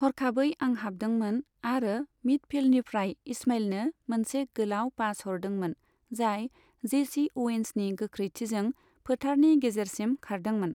हरखाबै आं हाबदोंमोन आरो मिडफील्डनिफ्राय इस्माइलनो मोनसे गोलाव पास हरदोंमोन, जाय जेसी अ'वेन्सनि गोख्रैथिजों फोथारनि गेजेरसिम खारदोंमोन।